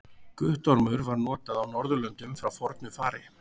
Guttormur var notað á Norðurlöndum frá fornu fari.